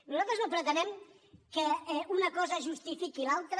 nosaltres no pretenem que una cosa justifiqui l’altra